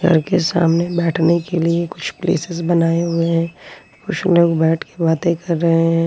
उनके सामने बैठने के लिए कुछ प्लेसेस बनाए हुए हैं कुछ लोग बैठके बाते कर रहे हैं।